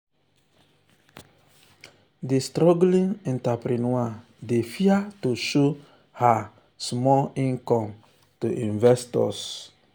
di struggling entrepreneur dey fear to show her um small income um to investors.